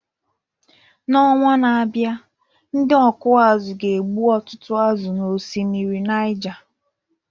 N’ọnwa na-abịa, ndị ọkụ azụ̀ ga-egbu ọtụtụ azụ̀ n’osimiri Niger